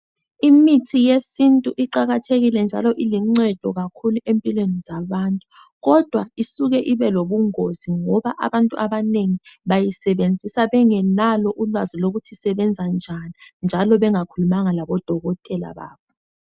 Imithi yesintu iqakathekile njalo iluncedo kakhulu empilweni zabantu kodwa isuke ibelobungozi ngoba abantu abanengi bayisebenzisa bengelalo ulwazi lokuthi isebenza njani njalo bengakhulumanga labodokotela babo.